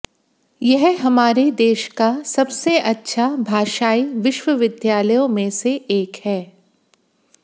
यह हमारे देश का सबसे अच्छा भाषाई विश्वविद्यालयों में से एक है